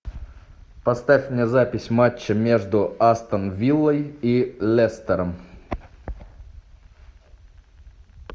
поставь мне запись матча между астон виллой и лестером